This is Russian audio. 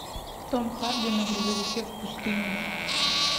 том харди на грузовике в пустыне